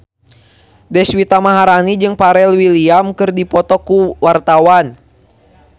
Deswita Maharani jeung Pharrell Williams keur dipoto ku wartawan